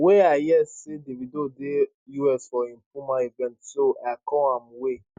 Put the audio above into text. wey i hear say davido dey us for im puma event so i call am wey